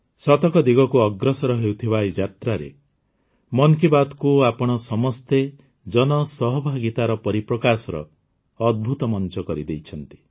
ଶତକ ଦିଗକୁ ଅଗ୍ରସର ହେଉଥିବା ଏହି ଯାତ୍ରାରେ ମନ୍ କି ବାତ୍କୁ ଆପଣ ସମସ୍ତେ ଜନସହଭାଗିତାର ପରିପ୍ରକାଶର ଅଦ୍ଭୁତ ମଞ୍ଚ କରିଦେଇଛନ୍ତି